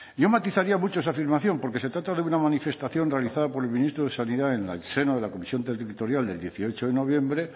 yo matizaría mucho esa afirmación porque se trata de una manifestación realizada por el ministro de sanidad en la de la comisión territorial del dieciocho de noviembre